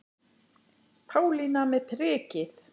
Pálína með prikið